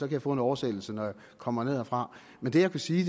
jeg få en oversættelse når jeg kommer ned herfra men det jeg kan sige